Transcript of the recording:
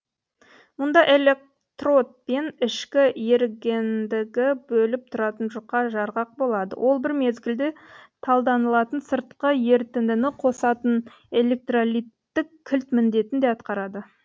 мұнда электрод пен ішкі ерігендігі бөліп тұратын жұқа жарғақ болады ол бір мезгілде талданылатын сыртқы ерітіндіні қосатын электролиттік кілт міндетін де атқарады